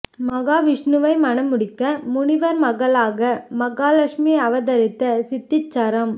மகாவிஷ்ணுவை மணம் முடிக்க முனிவர் மகளாக மகாலட்சுமி அவதரித்த சித்தீச்சரம்